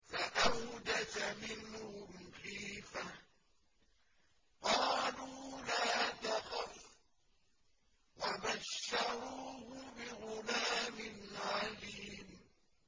فَأَوْجَسَ مِنْهُمْ خِيفَةً ۖ قَالُوا لَا تَخَفْ ۖ وَبَشَّرُوهُ بِغُلَامٍ عَلِيمٍ